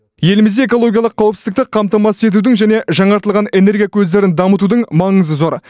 елімізде экологиялық қауіпсіздікті қамтамасыз етудің және жаңартылатын энергия көздерін дамытудың маңызы зор